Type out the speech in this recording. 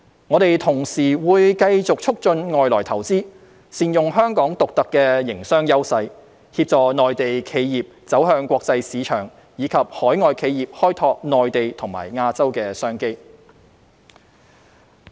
我們同時會繼續促進外來投資，善用香港獨特的營商優勢，協助內地企業走向國際市場，以及海外企業開拓內地和亞洲的商機。